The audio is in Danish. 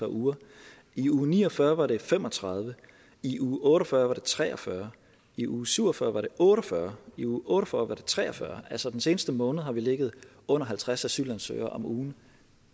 par uger i uge ni og fyrre var det fem og tredive i uge otte og fyrre var det tre og fyrre i uge syv og fyrre var det otte og fyrre i uge otte og fyrre var det tre og fyrre altså den seneste måned har vi ligget under halvtreds asylansøgere om ugen